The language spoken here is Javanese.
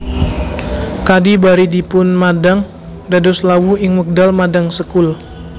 Kadhi bari dipunmadhang dados lawuh ing wekdal madhang sekul